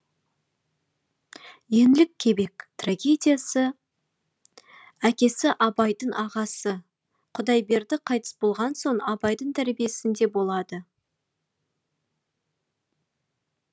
еңлік кебек трагедиясы әкесі абайдың ағасы құдайберді қайтыс болған соң абайдың тәрбиесінде болады